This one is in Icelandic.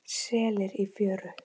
Selir í fjöru.